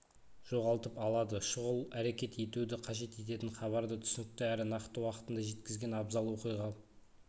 жоғалтып алады шұғыл әрекет етуді қажет ететін хабарды түсінікті әрі нақты уақытында жеткізген абзал оқиға